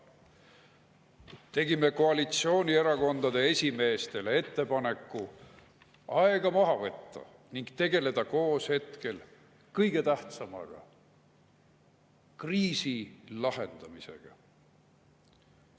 Tegime koalitsioonierakondade esimeestele ettepaneku aega maha võtta ning tegeleda koos hetkel kõige tähtsamaga – kriisi lahendamisega.